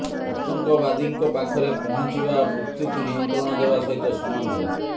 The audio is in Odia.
ଆତଙ୍କବାଦୀଙ୍କ ପାଖରେ ପହଞ୍ଚିବା ମୃତ୍ୟୁକୁ ନିମନ୍ତ୍ରଣ ଦେବା ସହିତ ସମାନ ଥିଲା